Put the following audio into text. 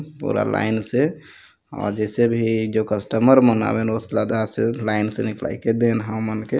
पूरा लाइन से और जैसे भी कस्टमर मन हा उनका लाइन से लाईके दे हमनके--